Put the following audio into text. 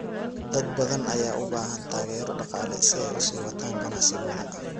Dad badan ayaa u baahan taageero dhaqaale si ay u sii wataan ganacsigooda.